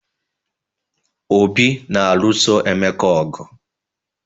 Obi na-alụso Emeka ọgụ